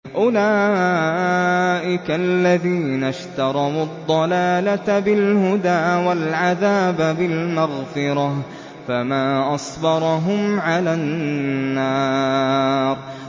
أُولَٰئِكَ الَّذِينَ اشْتَرَوُا الضَّلَالَةَ بِالْهُدَىٰ وَالْعَذَابَ بِالْمَغْفِرَةِ ۚ فَمَا أَصْبَرَهُمْ عَلَى النَّارِ